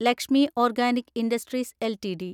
Lakshmi organic industries LTD